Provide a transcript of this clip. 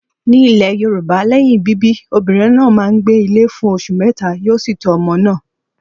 Ní ilẹ̀ Yorùbá lẹ́yìn bíbí, obìnrin náà máa ń gbé ilé fún oṣù mẹ́ta, yóò sì tọ́ ọmọ náà.